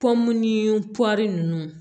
Pɔmu ni ninnu